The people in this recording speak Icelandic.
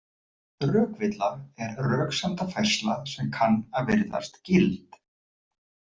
Rökvilla er röksemdafærsla sem kann að virðast gild.